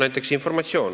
Näiteks informatsioon.